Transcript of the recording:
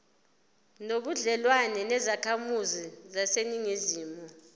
nobudlelwane nezakhamizi zaseningizimu